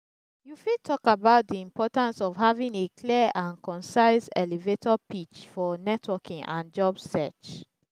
you fit talk about di importance of having a clear and concise elevator pitch for networking and job search.